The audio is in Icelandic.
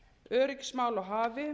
öryggismál á hafi